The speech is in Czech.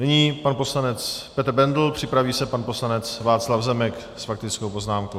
Nyní pan poslanec Petr Bendl, připraví se pan poslanec Václav Zemek s faktickou poznámkou.